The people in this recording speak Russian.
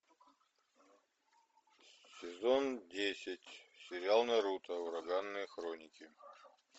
сезон десять сериал наруто ураганные хроники